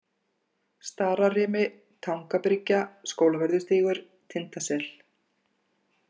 Stararimi, Tangabryggja, Skólavörðustígur, Tindasel